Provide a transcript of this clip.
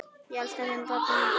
Ég elska þig, pabbi minn.